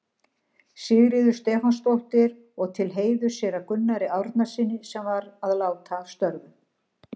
Sigríðar Stefánsdóttur og til heiðurs séra Gunnari Árnasyni, sem var að láta af störfum.